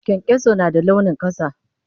Kyankyaso na da launin ƙasa.